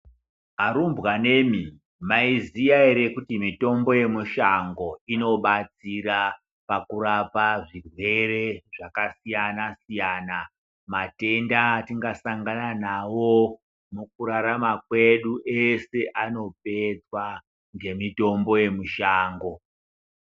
Arumbanemi mwaiziya ere kuti mitombo yemushango inobarsira pakurapa zvirwere zvakasiyana siyana, matenda atingasangana nawo mukurarama kwedu ese anopedzwa ngemitombo yemushango.